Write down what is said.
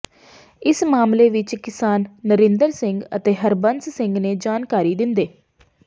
ਇਸ ਮਾਮਲੇ ਵਿੱਚ ਕਿਸਾਨ ਨਰਿੰਦਰ ਸਿੰਘ ਅਤੇ ਹਰਬੰਸ ਸਿੰਘ ਨੇ ਜਾਣਕਾਰੀ ਦਿੰਦੇ